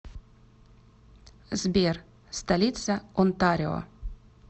сбер столица онтарио